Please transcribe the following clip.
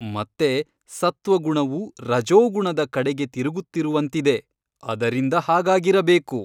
ಮತ್ತೆ ಸತ್ತ್ವಗುಣವು ರಜೋಗುಣದ ಕಡೆಗೆ ತಿರುಗುತ್ತಿರುವಂತಿದೆ ಅದರಿಂದ ಹಾಗಾಗಿರಬೇಕು.